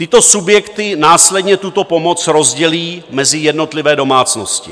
Tyto subjekty následně tuto pomoc rozdělí mezi jednotlivé domácnosti.